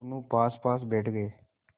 दोेनों पासपास बैठ गए